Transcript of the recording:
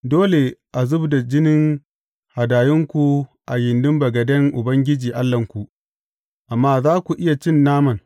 Dole a zub da jinin hadayunku a gindin bagaden Ubangiji Allahnku, amma za ku iya cin naman.